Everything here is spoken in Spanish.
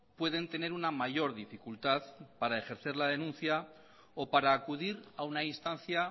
pueden tener una mayor dificultad para ejercer la denuncia o para acudir a una instancia